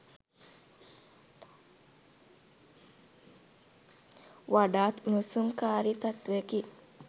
වඩාත් උණුසුම්කාරී තත්ත්වයකි